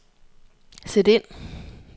sæt ind